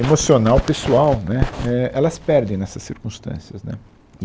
emocional, pessoal, né, é, elas perdem nessas circunstâncias, né. e